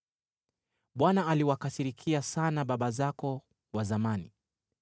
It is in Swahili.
“ Bwana aliwakasirikia sana baba zako wa zamani.